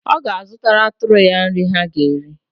Ọ ga-azụtara atụrụ ya nrị ha ga-eri.